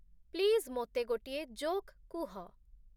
please ମୋତେ ଗୋଟିଏ joke କୁହ